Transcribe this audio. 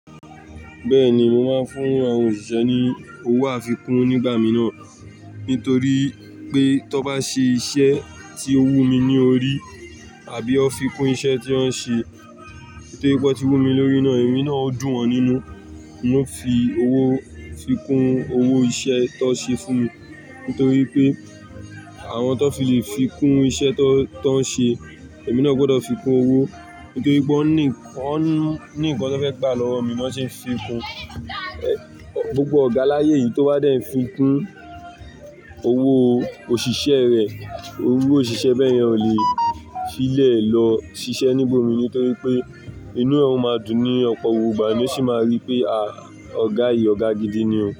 Bẹ́ẹ̀ni, mo máa ń fún àwọn òṣìṣẹ́ ni owó àfikún nígbà mìíràn. Nítorí pé tó bá ṣe iṣẹ́ tí ó wù mí ní orí àbí ó fi kún iṣẹ́ tí wọ́n ṣe tó yípo wón tí wù mí lórí náà, ẹ̀mí náà ó dùn wọ́n nínú. N ó fi owó fi kún owó iṣẹ́ tó n ṣe fún mi. Nítorí pé àwọn tó fi lè fi kún iṣẹ́ tó, tó ń ṣe, èmi náà gbọ́dọ̀ fi kún owó. Nítorí pé wón ní, ó ní nnkan tó fẹ́ gbà lọ́wọ́ mi, ló n ṣe ń fi kún. Ẹ̀, gbogbo ọ̀gá láyé yìí tó bá dẹ̀ ń fi kún owó òṣìṣẹ́ rẹ̀, owó òṣìṣẹ́ bẹ́ẹ̀ yẹn ò lè fílẹ̀ lọ ṣiṣẹ́ ní gbomìní nítórí pé inú ẹ̀ ọ̀ máa dùn ní ọ̀pọ̀ òwúrọ̀ ìgbà, ni ó sì máa rí pé, à, ọ̀gá yìí ọ̀gá gidi ni o.